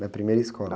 Na primeira escola.